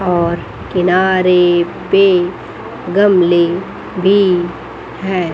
और किनारे पे गमले भी हैं।